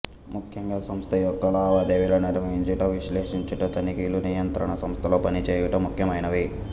ముఖ్యంగా సంస్థయొక్క లావాదేవీలను నిర్వహంచుట విశ్లేషించుట తనిఖీలు నియంత్రణ సంస్థలతో పనిచేయుట ముఖ్యమైనవి